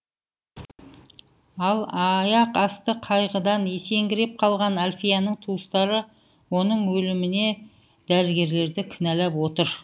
ал аяқасты қайғыдан есеңгіреп қалған әльфияның туыстары оның өліміне дәрігерлерді кінәлап отыр